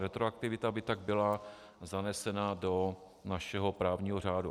Retroaktivita by tak byla zanesena do našeho právního řádu.